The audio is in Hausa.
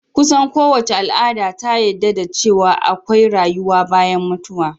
Kusan so wace al'ada ta yadda da ce wa akwai rayuwa bayan mutuwa